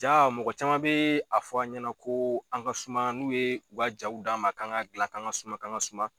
Ja mɔgɔ caman be a fɔ an ɲɛna ko an ka suma, n'u ye u ka jaw d'a ma, kan ka gilan kan ka suma kan ka suma